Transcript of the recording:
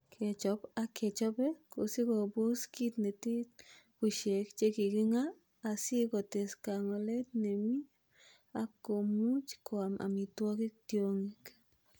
Kechop ak kechope kosikobos kit netet bushek che kikingaa asi kotes kangolet nemie ak komuch koam amitwogik tiongik.